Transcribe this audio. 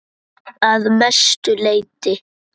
Að mestu leyti